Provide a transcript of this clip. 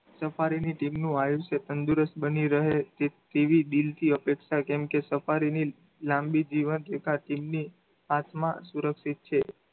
safari ની team નું આયુષ્ય તંદુરસ્ત બની રહે તેવી દિલથી અપેક્ષા કેમકે safari ની લાંબી જીવનરેખા team ની હાથમાં સુરક્ષિત છે.